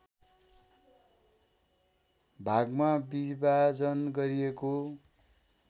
भागमा विभाजन गरिएको